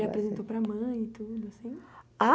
E apresentou para a mãe e tudo assim? Ah